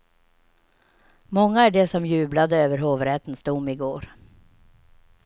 Många är de som jublade över hovrättens dom i går.